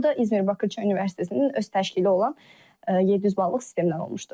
Bu da İzmir Bakırçay Universitetinin öz təşkili olan 700 ballıq sistemdən olmuşdu.